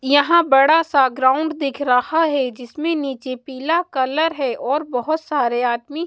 यहाँ बड़ा सा ग्राउंड दिख रहा है जिसमें नीचे पीला कलर है और बहुत सारे आदमी--